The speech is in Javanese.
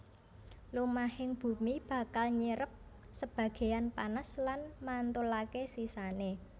Lumahing bumi bakal nyerep sebagéyan panas lan mantulaké sisané